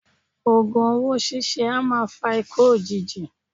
Ògùn owó síse a maa fa ikú òjijì